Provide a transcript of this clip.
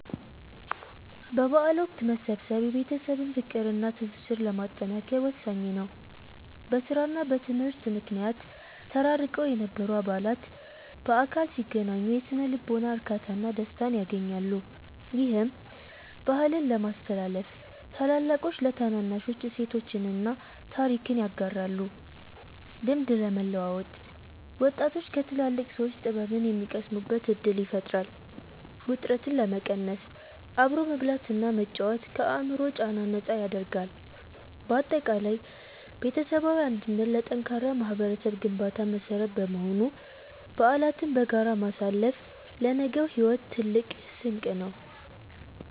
በበዓል ወቅት መሰብሰብ የቤተሰብን ፍቅርና ትስስር ለማጠናከር ወሳኝ ነው። በሥራና በትምህርት ምክንያት ተራርቀው የነበሩ አባላት በአካል ሲገናኙ የሥነ-ልቦና እርካታና ደስታን ያገኛሉ። ይህም፦ -ባህልን ለማስተላለፍ፦ ታላላቆች ለታናናሾች እሴቶችንና ታሪክን ያጋራሉ። -ልምድ ለመለዋወጥ፦ ወጣቶች ከትላልቅ ሰዎች ጥበብን የሚቀስሙበት ዕድል ይፈጥራል። -ውጥረትን ለመቀነስ፦ አብሮ መብላትና መጫወት ከአእምሮ ጫና ነፃ ያደርጋል። ባጠቃላይ ቤተሰባዊ አንድነት ለጠንካራ ማኅበረሰብ ግንባታ መሠረት በመሆኑ፣ በዓላትን በጋራ ማሳለፍ ለነገው ሕይወት ትልቅ ስንቅ ነው።